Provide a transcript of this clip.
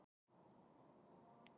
Aukafundur í borgarráði